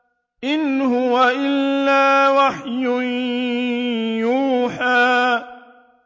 إِنْ هُوَ إِلَّا وَحْيٌ يُوحَىٰ